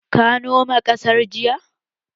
Ka nome ƙasar jiya?